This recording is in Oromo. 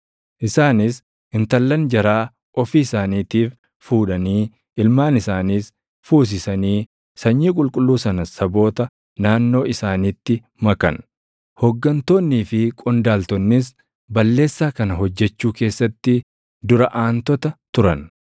Isaanis intallan jaraa ofii isaaniitiif fuudhanii ilmaan isaaniis fuusisanii sanyii qulqulluu sana saboota naannoo isaaniitti makan. Hooggantoonnii fi qondaaltonnis balleessaa kana hojjechuu keessatti dura aantota turan.”